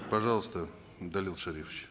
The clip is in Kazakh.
пожалуйста далел шарипович